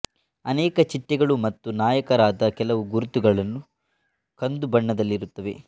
ಅನೇಕ ಚಿಟ್ಟೆಗಳು ಮತ್ತು ನಾಯಕರಾದ ಕೆಲವು ಗುರುತುಗಳನ್ನು ಕಂದು ಬಣ್ಣದಲ್ಲಿರುತ್ತವೆ